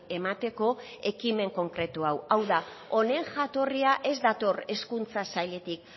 emateko ekimen konkretu hau hau da honen jatorria ez dator hezkuntza sailetik